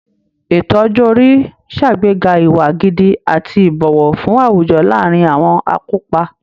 Ètò ọjọ́ orí ṣàgbéga ìwà gidi àti ìbọ̀wọ̀ fún àwùjọ láàárín àwọn akópa